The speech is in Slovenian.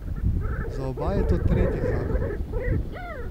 Za oba je to tretji zakon.